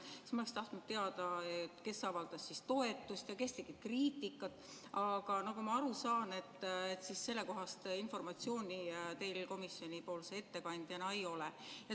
Siis ma oleksin tahtnud teada, kes avaldas toetust ja kes tegi kriitikat, aga nagu ma aru saan, siis sellekohast informatsiooni teil komisjoni ettekandjana ei ole.